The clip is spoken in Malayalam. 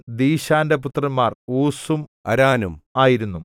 ദീശാന്റെ പുത്രന്മാർ ഊസും അരാനും ആയിരുന്നു